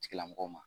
Tigilamɔgɔw ma